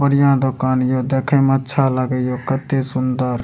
बढ़िया दुकान हियो देखे म अच्छा लागे हियो कत्ते सुन्दर।